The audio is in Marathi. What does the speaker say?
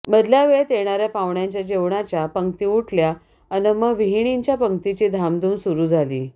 मधल्या वेळात येणाऱ्या पाहुण्यांच्या जेवणाच्या पंक्ती उठल्या अन् मग विहिणीच्या पंक्तीची धामधूम सुरू झाली